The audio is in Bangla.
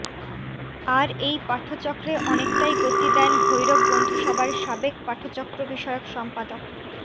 আর এই পাঠচক্রে অনেকটাই গতি দেন ভৈরব বন্ধুসভার সাবেক পাঠচক্রবিষয়ক সম্পাদক